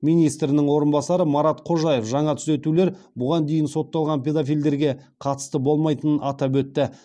министрінің орынбасары марат қожаев жаңа түзетулер бұған дейін сотталған педофилдерге қатысты болмайтынын атап өтті